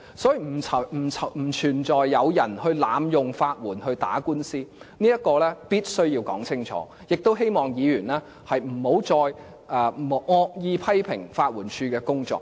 所以，不存在有人濫用法援打官司的問題，這一點是必須說清楚的，也希望議員不要再惡意批評法援署的工作。